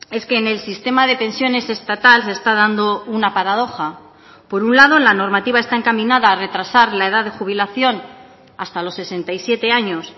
es que en el sistema de pensiones estatal se está dando una paradoja por un lado la normativa está encaminada a retrasar la edad de jubilación hasta los sesenta y siete años